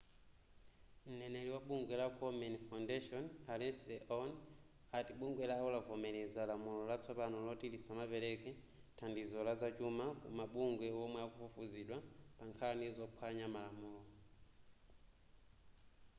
mneneri wa bungwe la komen foundation a leslie aun ati bungwe lawo lavomereza lamulo latsopano loti lisamapereke thandizo lazachuma ku mabungwe omwe akufufuzidwa pa pankhani zophwanya malamulo